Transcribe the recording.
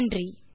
நன்றி